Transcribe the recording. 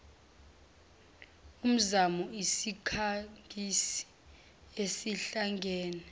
umzamo isikhangisi esihlangene